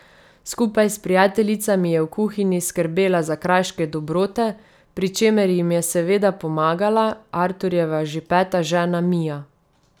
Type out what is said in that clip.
Skupaj s prijateljicami je v kuhinji skrbela za kraške dobrote, pri čemer jim je seveda pomagala Arturjeva že peta žena Mija.